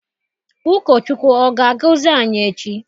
Ụkọ Chukwu ọ ga-agọzi anyị echi?